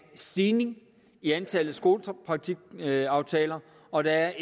stigning i antallet af skolepraktikpladsaftaler og der